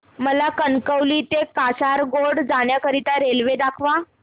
मला कणकवली ते कासारगोड जाण्या करीता रेल्वे दाखवा